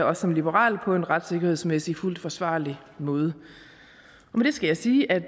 også som liberal på en retssikkerhedsmæssig fuldt forsvarlig måde med det skal jeg sige at